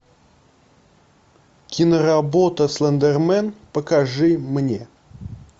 киноработа слендермен покажи мне